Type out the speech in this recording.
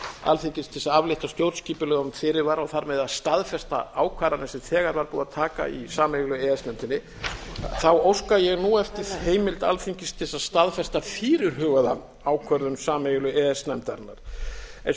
alþingis til þess að aflétta stjórnskipulegum fyrirvara og þar með að staðfesta ákvarðanir sem þegar var búið að taka í sameiginlegu e e s nefndinni óska ég nú eftir heimild alþingis til þess að staðfesta fyrirhugaða ákvörðun sameiginlegu e e s nefndarinnar eins og